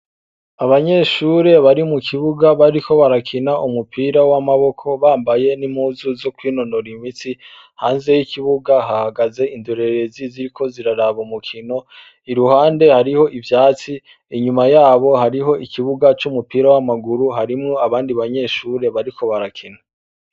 Abanyeshure bari mu kibuga bariko barakina umupira w'amaboko bambaye n'impuzu zokwinonora imitsi, hanze y'ikibuga hahagaze indorerezi ziriko ziraraba umukino, iruhande hariho ivyatsi inyuma yabo hariho ikibuga c'umupira w'amaguru harimwo abandi banyeshuri bariko barakina.